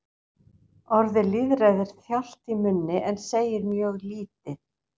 Orðið lýðfræði er þjált í munni en segir mjög lítið.